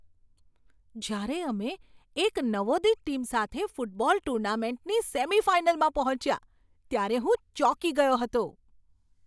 જ્યારે અમે એક નવોદિત ટીમ સાથે ફૂટબોલ ટૂર્નામેન્ટની સેમિફાઇનલમાં પહોંચ્યા ત્યારે હું ચોંકી ગયો હતો.